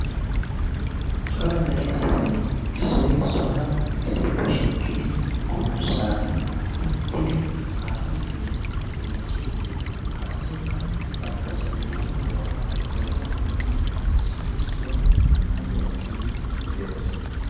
Cora dere asay issoy issuwara issippe shiiqqidi ommarssaan uttidi kaa'iidinne miicciidi qassikka bantta sinttanaabaa zorettiidi issoy issuwappe hayyuwa ekkidi de'oosona.